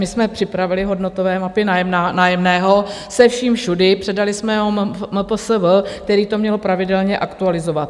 My jsme připravili hodnotové mapy nájemného se vším všudy, předali jsme to MPSV, které to mělo pravidelně aktualizovat.